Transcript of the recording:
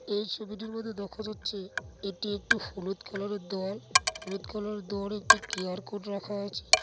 এই ছবিটির মধ্যে দেখা যাচ্ছে এটি একটি হলুদ কালার -এর দেওয়াল হলুদ কালার -এর দেওয়ালে একটি কেয়ার কোড রাখা আছে --